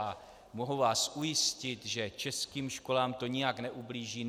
A mohu vás ujistit, že českým školám to nijak neublíží.